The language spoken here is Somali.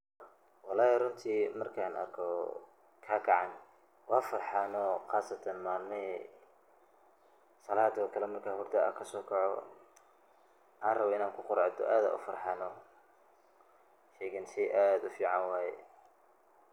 Wallahi runti markan arkoh, kakacan wa farxaa nooh malmahan salada ukali marka hurda kasocooh waxan rabay Ina ku quracdoh sheeygan sheey aad u fican waye.